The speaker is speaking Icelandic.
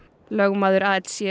lögmaður